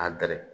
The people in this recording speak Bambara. A gar